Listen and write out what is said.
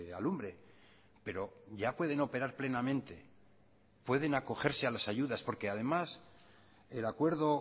alumbre pero ya pueden operar plenamente pueden acogerse a las ayudas porque además el acuerdo